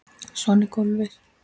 Svona er golfið.